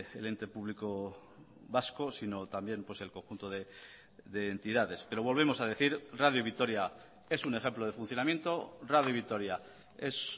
el ente público vasco sino también el conjunto de entidades pero volvemos a decir radio vitoria es un ejemplo de funcionamiento radio vitoria es